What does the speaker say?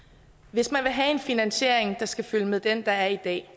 hvis man vil have en finansiering der skal følge med den der er i dag